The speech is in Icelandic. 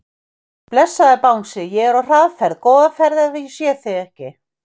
Blessaður Bangsi, ég er á hraðferð, góða ferð ef ég sé þig ekki.